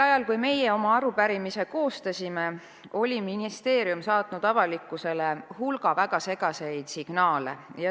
Ajaks, kui meie oma arupärimise koostasime, oli ministeerium saatnud avalikkusele hulga väga segaseid signaale.